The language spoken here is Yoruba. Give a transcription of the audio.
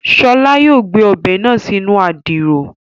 Ṣọlá yóò gbé Ọbẹ̀ náà sínú Àdìrò